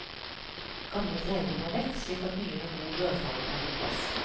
Gamle greiner må vekk, slik at nye med god rødfarge kan få plass.